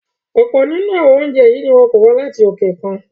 Ọ̀pọ̀ nínú àwọn oúnjẹ yìí ni wọn ń kó wá láti òkè òkun